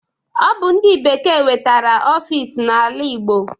Ọ bụ ndị bekee wetara ọfis n'ala igbo